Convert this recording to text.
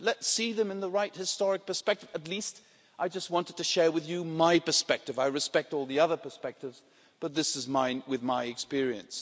Let's see them in the right historical perspective. I wanted, at least, to share with you my perspective. I respect all the other perspectives, but this is mine, from my experience.